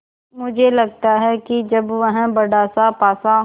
मुझे लगता है कि जब वह बड़ासा पासा